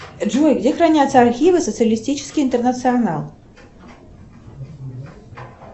джой где хранятся архивы социалистический интернационал